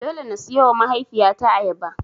Dole na siyowa mahaifiyata ayaba.